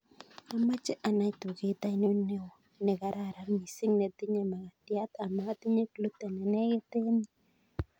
Amache anai tuket ainon neo negararan mising netinye makatiat amatinye gluten nenegit en yu